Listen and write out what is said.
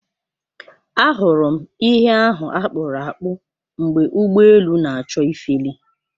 Ahụrụ m ihe ahụ akpụrụ akpụ mgbe ụgbọ elu na-achọ ifeli.